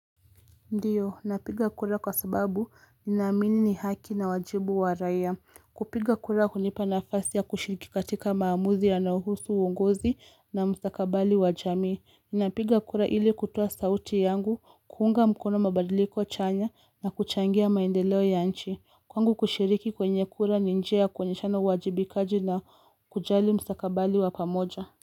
Ndiyo, napiga kura kwa sababu ninamini ni haki na wajibu wa raya. Kupiga kura kunipa nafasi ya kushiriki katika maamuzi ya nauhusu uungozi na mstakabali wa jami. Ninapiga kura ili kutua sauti yangu, kuunga mkono mabadiliko chanya na kuchangia maendeleo ya nchi. Kwangu kushiriki kwenye kura ninjea kwenye chano wajibikaji na kujali mstakabali wa pamoja.